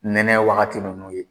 Nɛnɛ wagati nunnu ye.